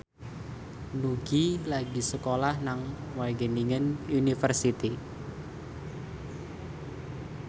Nugie lagi sekolah nang Wageningen University